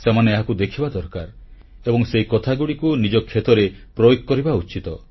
ସେମାନେ ଏହାକୁ ଦେଖିବା ଦରକାର ଏବଂ ସେହି କଥାଗୁଡ଼ିକୁ ନିଜ କ୍ଷେତ୍ରରେ ପ୍ରୟୋଗ କରିବା ଉଚିତ